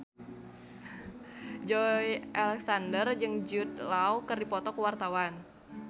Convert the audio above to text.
Joey Alexander jeung Jude Law keur dipoto ku wartawan